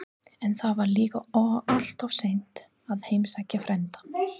En þá var líka alltof seint að heimsækja frændann.